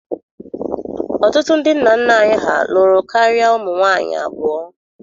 Ọtụtụ ndị nna nna anyị ha lụrụ karịa ụmụ nwaanyị abụọ.